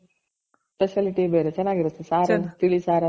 specialty ಬೇರೆ ಚೆನಾಗಿರುತ್ತೆ.ಸಾರೆಲ್ಲ ತಿಳಿ ಸಾರನ್ನ ಅದೆಲ್ಲ ಚೆನಾಗಿರುತ್ತೆ